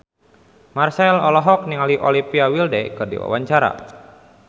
Marchell olohok ningali Olivia Wilde keur diwawancara